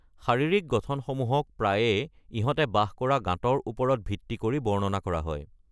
শাৰীৰিক গঠনসমূহক প্ৰায়ে ইহঁতে বাস কৰা গহ্বৰৰ ওপৰত ভিত্তি কৰি বৰ্ণনা কৰা হয়।